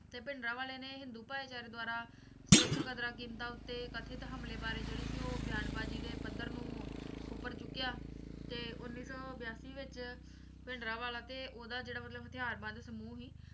ਤੇ ਭਿੰਡਰਾਂਵਾਲੇ ਨੇ ਹਿੰਦੂ ਭਾਈਚਾਰੇ ਦੁਆਰਾ ਸਿੱਖ ਕਦਰਾਂ ਕੀਮਤਾਂ ਉੱਤੇ ਕਥਿਤ ਹਮਲੇ ਬਾਰੇ ਜਿਹੜੀ ਸੀ ਉਹ ਬਿਆਨ ਬਾਜੀ ਦੇ ਪੱਧਰ ਨੂੰ ਉੱਪਰ ਚੁੱਕਿਆ ਤੇ ਉੱਨੀ ਸੌ ਬਿਆਸੀ ਵਿੱਚ ਭਿੰਡਰਾਂਵਾਲਾ ਤੇ ਓਹਦਾ ਜਿਹੜਾ ਹਥਿਆਰ ਬੰਦ ਸਮੂਹ ਸੀ